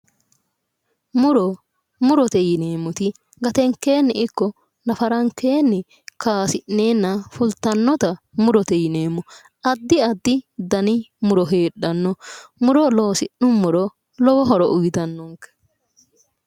Muro, murote yuneemmoti gatenkeenni ikko nafarankeenni kaasi'neenna fultannota murote yineemmo. addi addi muro heedhanno muro loosi'nummoro lowo horo uuyitannonke